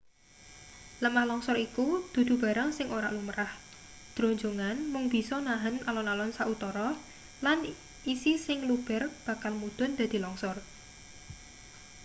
lemah longsor iku dudu barang sing ora lumrah dronjongan mung bisa nahen alon-alon sautara lan isi sing luber bakal mudhun dadi longsor